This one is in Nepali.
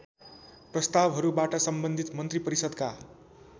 प्रस्‍तावहरूबाट सम्बन्धित मन्त्रिपरिषदका